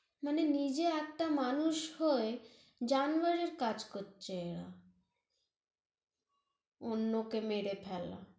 মানে নিজে একটা মানুষ হয়ে জানোয়ারের কাজ করছে এরা অন্য়কে মেরে ফেলা